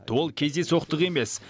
ол кездейсоқтық емес